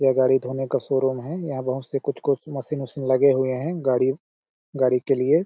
ये गाड़ी धोने का शोरूम है यहाँ बहुत से कुछ-कुछ मशीन वशिन लगे हुए है गाड़ी गाड़ी के लिए।